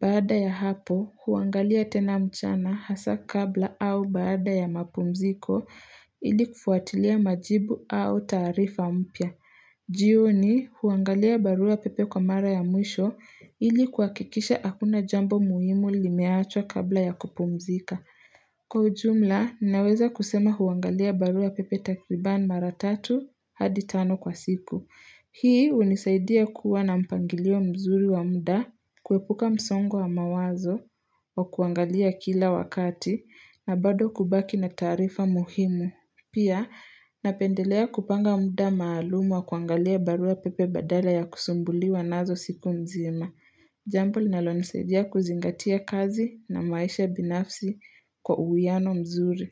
Baada ya hapo, huangalia tena mchana hasa kabla au baada ya mapumziko ili kufuatilia majibu au taarifa mpya. Jioni huangalia barua pepe kwa mara ya mwisho ili kuhakikisha hakuna jambo muhimu limeachwa kabla ya kupumzika. Kwa ujumla, naweza kusema huangalia barua pepe takriban mara tatu hadi tano kwa siku. Hii hunisaidia kuwa na mpangilio mzuri wa muda, kuepuka msongo wa mawazo, wa kuangalia kila wakati, na bado kubaki na taarifa muhimu. Pia napendelea kupanga muda maalumu wa kuangalia barua pepe badala ya kusumbuliwa nazo siku mzima. Jambo linalonisaidia kuzingatia kazi na maisha binafsi kwa uwiano mzuri.